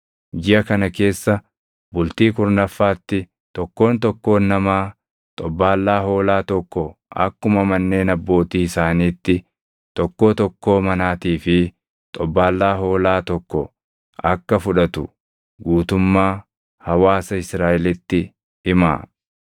Jiʼa kana keessa bultii kurnaffaatti tokkoon tokkoon namaa xobbaallaa hoolaa tokko akkuma manneen abbootii isaaniitti tokkoo tokkoo manaatii fi xobbaallaa hoolaa tokko akka fudhatu guutummaa hawaasa Israaʼelitti himaa.